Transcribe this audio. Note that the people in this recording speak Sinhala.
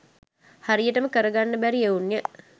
හරියට කරගන්න බැරි එවුන්ය.